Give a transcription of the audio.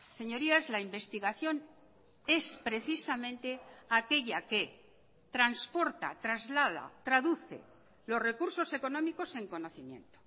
señorías la investigación es precisamente aquella que transporta traslada traduce los recursos económicos en conocimiento